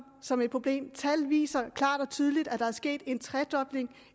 som et problem tallene viser klart og tydeligt at der er sket en tredobling